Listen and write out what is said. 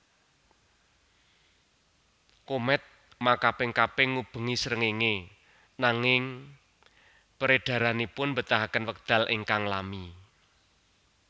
Komèt makaping kaping ngubengi srengéngé nanging peredaranipun mbetahaken wekdal ingkang lami